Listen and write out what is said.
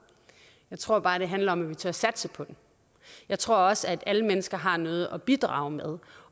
jeg tror bare det handler om at vi tør satse på den jeg tror også at alle mennesker har noget at bidrage med